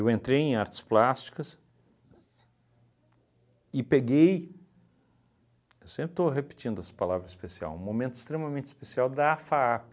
entrei em artes plásticas e peguei – eu sempre estou repetindo essa palavra especial – um momento extremamente especial da FAAP.